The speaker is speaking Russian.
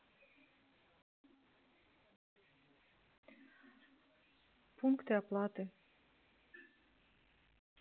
пункты оплаты